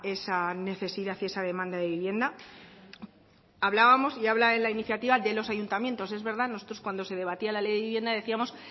esa necesidad y esa demanda de vivienda hablábamos y habla en la iniciativa de los ayuntamientos es verdad nosotros cuando se debatía la ley de vivienda decíamos